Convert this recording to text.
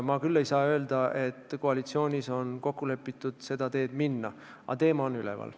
Ma küll ei saa öelda, et koalitsioonis on kokku lepitud seda teed minna, aga teema on üleval.